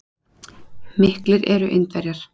Miklir eru Indverjar.